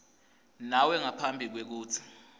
nawe ngaphambi kwekutsi